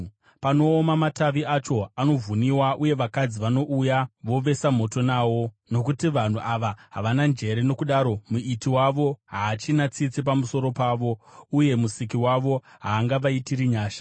Panooma matavi acho, anovhuniwa, uye vakadzi vanouya vovesa moto nawo. Nokuti vanhu ava havana njere; nokudaro Muiti wavo haachina tsitsi pamusoro pavo, uye Musiki wavo haangavaitiri nyasha.